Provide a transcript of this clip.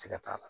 Ti ka t'a la